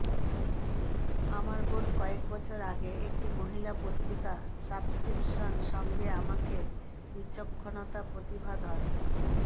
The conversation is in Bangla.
আমার বোন কয়েক বছর আগে একটি মহিলা পত্রিকা সাবস্ক্রিপশন সঙ্গে আমাকে বিচক্ষণতা প্রতিভাধর